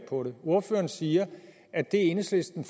på det ordføreren siger at det enhedslisten